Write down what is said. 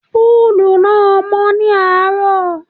Púùlù náà mọ́ ní àárọ̀.